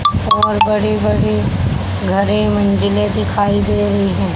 और बड़े बड़े घरें मंजिलें दिखाई दे रही हैं।